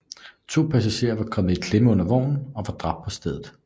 To passagerer kom i klemme under vognen og var dræbt på stedet